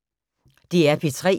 DR P3